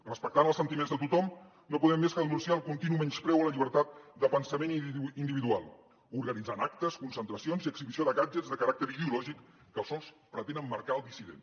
respectant els sentiments de tothom no podem més que denunciar el continu menyspreu a la llibertat de pensament individual organitzant actes concentracions i exhibició de gadgetsel dissident